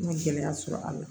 N ye gɛlɛya sɔrɔ a la